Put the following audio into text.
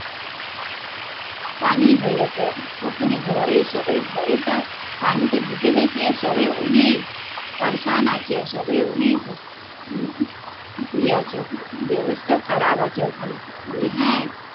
পানি হয়েছে, ওখানে ঘরে সবাই ঘরে পানি টা ঢুকে গেছে সবাই অনেক আছে সবাই অনেক ইয়ে আছে ব্যাবস্তা খারপ আছে ওখানে বলে হ্যা